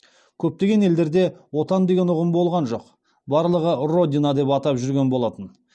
көптеген елдерде отан деген ұғым болған жоқ барлығы родина деп атап жүрген болатын